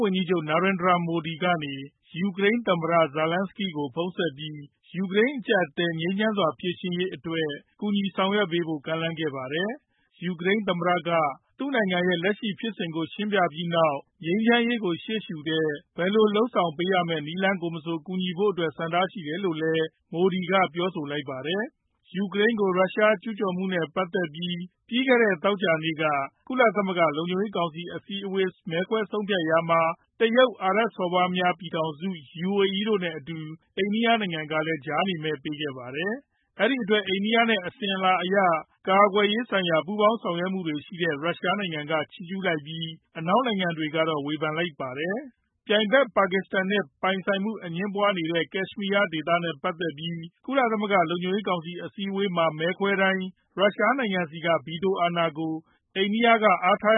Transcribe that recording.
ဝန်ကြီးချုပ် Narendra Modi က ယူကရိန်းသမ္မတ Volodymyr Zelenskiy ကို ဖုန်းဆက်ပြီး ယူကရိန်း အကျပ်အတည်း ငြိမ်းချမ်းစွာ ဖြေရှင်းရေးအတွက် ကူညီဆောင်ရွက်ပေးဖို့ ကမ်းလှမ်းခဲ့ပါတယ်။ ယူကရိန်းသမ္မတက သူ့နိုင်ငံရဲ့ လက်ရှိဖြစ်စဉ်တွေကို ရှင်းပြပြီးနောက် ငြိမ်းချမ်းရေးကို ရှေ့ရှုတဲ့ ဘယ်လိုဆောင်ရွက်ပေးရမယ့် နည်းလမ်းမဆို ကူညီဖို့အတွက် ဆန္ဒရှိတယ်လိုလည်း Modi က ပြောပါတယ်။ ယူကရိန်းကို ရုရှားကျူးကျော်မှုနဲ့ ပတ်သက်ပြီး ပြီးခဲ့တဲ့ သောကြာနေ့က ကုလသမဂ္ဂ လုံခြုံရေးကောင်စီ အစည်းအဝေး မဲခွဲဆုံးဖြတ်ခဲ့ကြရာမှာ တရုတ်၊ အာရပ်စော်ဘွားများ ပြည်ထောင်စု UAE တို့နဲ့အတူ အိန္ဒိယနိုင်ငံကလည်း ကြားနေမဲ ပေးခဲ့ပါတယ်။ အဲဒီအတွက် အိန္ဒိယနဲ့ အစဉ်အလာအရ ကာကွယ်ရေးဆိုင်ရာ ပူးပေါင်းဆောင်ရွက်မှုတွေရှိတဲ့ ရုရှားနိုင်ငံက ချီးကျူးလိုက်ပြီး အနောက်နိုင်ငံတွေကတော့ ဝေဖန်လိုက်ကြပါတယ်။ ပြိုင်ဘက် ပါကစ္စတန်နဲ့ ပိုင်ဆိုင်မှု အငြင်းပွားမှုဖြစ်နေတဲ့ ကက်ရှ်မီးယားဒေသနဲ့ ပတ်သက်ပြီး ကုလသမဂ္ဂ လုံခြုံရေးကောင်စီ အစည်းအဝေးမှာ မဲခွဲခဲ့တဲ့အခါတိုင်း ရုရှားနိုင်ငံက ဗီတိုအာဏာကို အိန္ဒိယဘက်က အားထား